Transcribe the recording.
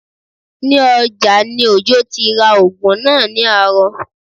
Ní ọjà ni Òjó ti ra oògùn náà ní àárọ̀